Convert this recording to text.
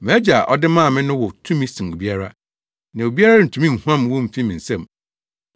MʼAgya a ɔde wɔn maa me no wɔ tumi sen obiara, na obiara rentumi nhuam wɔn mfi me nsam.